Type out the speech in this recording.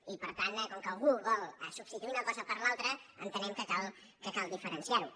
i per tant com que al·gú vol substituir una cosa per l’altra entenem que cal diferenciar·ho